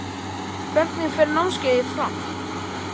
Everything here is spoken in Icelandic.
Hvernig fer námskeiðið fram?